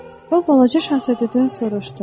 O balaca şahzadədən soruşdu: